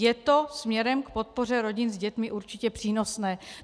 Je to směrem k podpoře rodin s dětmi určitě přínosné.